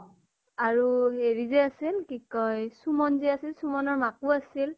আৰু হেৰি যে আছিল কি কয় চুমন যে আছিল, চুমনৰ মাকো আছিল।